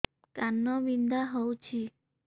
କାନ ବିନ୍ଧା ହଉଛି